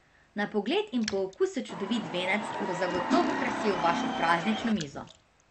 Na pogled in po okusu čudovit venec bo zagotovo krasil vašo praznično mizo.